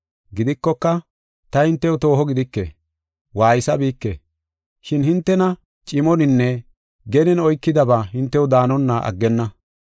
Gidikoka, ta hintew tooho gidike; waaysabike; shin hintena cimoninne genen oykidaba hintew daanonna aggenna.